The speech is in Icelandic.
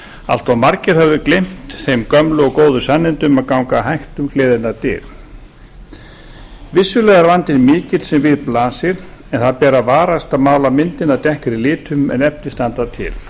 allt of margir höfðu gleymt þeim gömlu og góðu sannindum að ganga hægt um gleðinnar dyr vissulega er vandinn mikill sem við blasir en það ber að varast að mála myndina dekkri litum en efni standa til